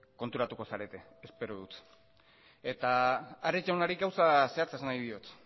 konturatuko zarete espero dut eta ares jaunari gauza zehatza esan nahi diot